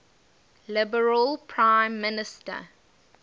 liberal prime minister